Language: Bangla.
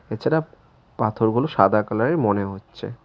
তাছাড়া পাথরগুলো সাদা কালার -এর মনে হচ্ছে।